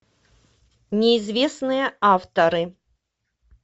неизвестные авторы